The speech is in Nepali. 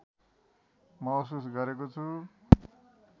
महसुस गरेको छु